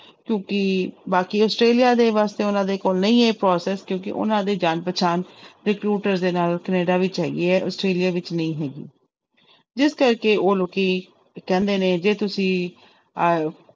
ਕਿਉਂਕਿ ਬਾਕੀ ਆਸਟ੍ਰੇਲੀਆ ਦੇ ਵਾਸਤੇ ਉਹਨਾਂ ਦੇ ਕੋਲ ਨਹੀਂ ਹੈ process ਕਿਉਂਕਿ ਉਹਨਾਂ ਦੇੇ ਜਾਣ ਪਛਾਣ recruiter ਦੇ ਨਾਲ ਕੈਨੇਡਾ ਵਿੱਚ ਹੈਗੀ ਹੈ ਆਸਟ੍ਰੇਲੀਆ ਵਿੱਚ ਨਹੀਂ ਹੈਗੀ, ਜਿਸ ਕਰਕੇ ਉਹ ਲੋਕੀ ਕਹਿੰਦੇ ਨੇ ਜੇ ਤੁਸੀਂ ਅਹ